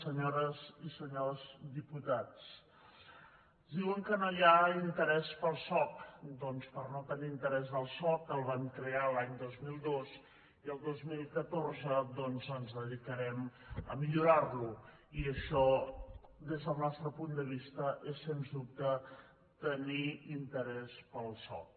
senyores i senyors diputats diuen que no hi ha interès pel soc doncs per no tenir interès pel soc el vam crear a l’any dos mil dos i el dos mil catorze ens dedicarem a millorar lo i això des del nostre punt de vista és sens dubte tenir interès pel soc